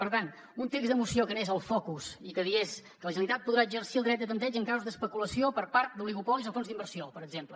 per tant un text de moció que anés al focus i que digués que la generalitat podrà exercir el dret de tanteig en casos d’especulació per part oligopolis o fons d’inversió per exemple